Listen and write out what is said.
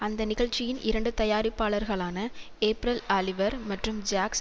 அந்த நிகழ்ச்சியின் இரண்டு தயாரிப்பாளர்களான ஏப்ரல் ஆலிவர் மற்றும் ஜாக்ஸ்